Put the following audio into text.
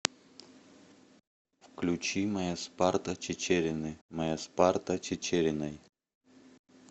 включи моя спарта чичерины моя спарта чичериной